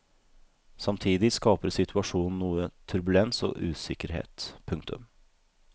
Samtidig skaper situasjonen noe turbulens og usikkerhet. punktum